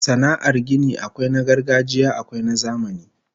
Sana'ar gini akwai na gargajiya akwai na zamani